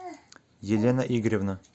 елена игоревна